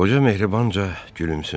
Qoca mehribanca gülümsündü.